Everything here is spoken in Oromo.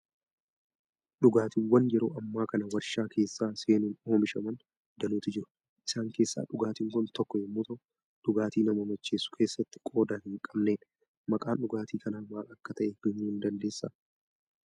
Dhugaatiiwwan yeroo ammaa kana waarshaa keessa seenuun oomishaman danuutu jiru. Isaan keessaa dhugaatiin kun tokko yommuu ta'u, dhugaatii nama macheessuu keessatti qooda hin qabnedha. Maqaan dhugaatii kanaa maal akka ta'e himuu ni dnadeessaa?